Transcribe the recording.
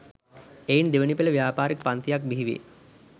එයින් දෙවැනි පෙළ ව්‍යාපාරික පන්තියක්ද බිහිවේ